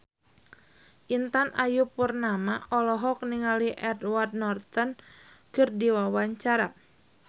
Intan Ayu Purnama olohok ningali Edward Norton keur diwawancara